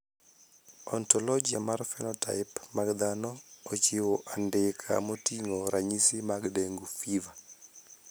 Ontologia mar phenotype mag dhano ochiwo andika moting`o ranyisi mag Dengue fever.